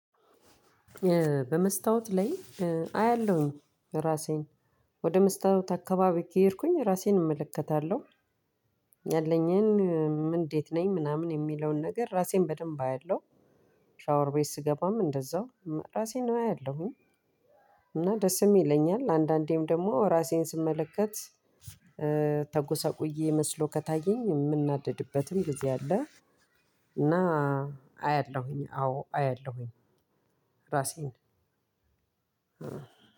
በመስታወት ላይ አያለሁኝ ራሴን ወደ መስታወት አካባቢ ከሄድኩኝ ራሴን እመለከታለሁ ያለኝን እንዴት ነኝ ምናምን የሚለውን ነገር ራሴን በደንብ አያለሁ። ሻወር ቤት ስገባም እንደዛው ራሴን አያለሁኝ። እና ደስም ይለኛል አንዳንዴም ደሞ ራሴን ስመለከት ተጎሳቁዬ መስሎ ከታየኝ ምናደድበትም ጊዜ አለ። እና አያለሁኝ አዎ አያለሁኝ ራሴን